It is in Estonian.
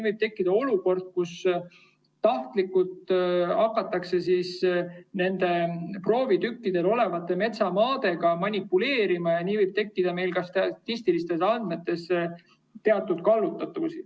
Võib tekkida olukord, kus tahtlikult hakatakse nendel proovitükkidel olevate metsamaadega manipuleerima ja nii võib tekkida ka statistilistes andmetes teatud kallutatus.